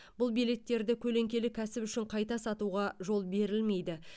бұл билеттерді көлеңкелі кәсіп үшін қайта сатуға жол берілмейді